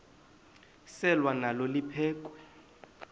selwa nalo liphekhwe